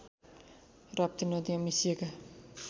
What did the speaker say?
राप्ती नदीमा मिसिएका